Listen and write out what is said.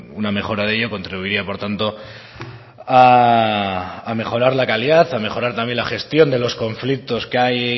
una mejora de ello contribuiría por tanto a mejorar la calidad a mejorar también la gestión de los conflictos que hay